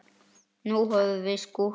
Nú höfum við skúrka.